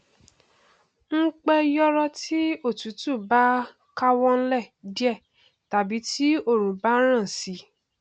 n pẹ yòòrò tí òtútù bá káwọ nlẹ díẹ tàbí tí òrùn bá ràn sí i